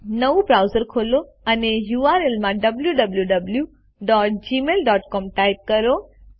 નવું બ્રાઉઝર ખોલો અને યુઆરએલ માં wwwgmailcom ટાઇપ કરો